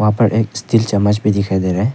वहां पर एक स्टील चम्मच भी दिखाई दे रहा है।